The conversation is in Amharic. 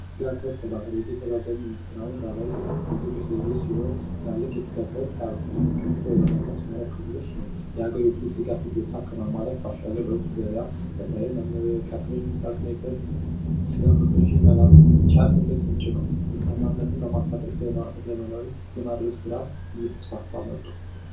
የከብት እርባታ በኢትዮጵያ በአብዛኛው የሚከናወን የባህላዊ የግጦሽ ዘዴ ሲሆን ትላልቅ የስጋ ከብት የሚገኘው በኦሮሚያና በሶማሊያ ክልሎች ነው። የሀገሪቱን የስጋ ፍጆታ ከማሟላት ባሻገር ለውጭ ገበያ በተለይም ለመካከለኛው ምስራቅ የስጋ ምርቶችን ለመላክ ዋነኛ ምንጭ ነው። ምርታማነት ለማሳደግ ዘመናዊ የማድለብ ስራ እየተስፋፋት መጥቷል።